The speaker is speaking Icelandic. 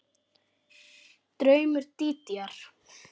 Draumur Dídíar